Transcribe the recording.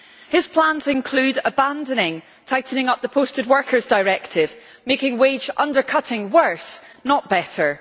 His plans include abandoning the tightening up of the Posted Workers Directive, making wage-undercutting worse, not better.